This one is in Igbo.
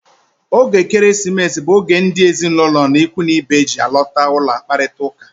Oge Ekeresimesi bụ oge ndị ezinụlọ na ikwu na ibe ji alọta ụlọ akparita ụka.